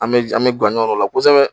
An bɛ an bɛ guwa ɲɔ o la kosɛbɛ